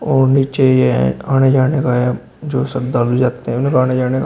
और नीचे यह एक आने जाने का है जो श्रद्धा भी रखते हैं फिर आने जाने का।